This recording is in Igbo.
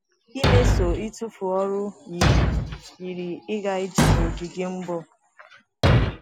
Imeso ịtụfu ọrụ yiri yiri ịga ije n’ogige mgbọ.